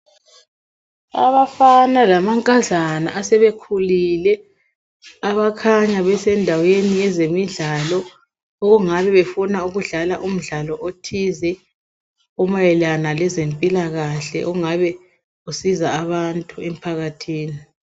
Abafana lamankazana asebekhulile abakhanya besendaweni yezemidlalo okungabe befuna ukudlala umdlalo othize omayelana lezempilakahle okungabe kusiza abantu emphakathini.